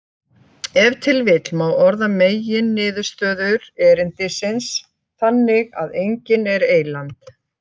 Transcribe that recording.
Ef til vill má orða meginniðurstöður erindisins þannig að enginn er eyland.